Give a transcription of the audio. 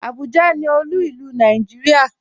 Abuja ni òlu ilú ilu Nàìjíríà.